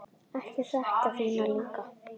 Ég þekki þína líka.